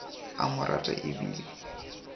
a mo rata e bile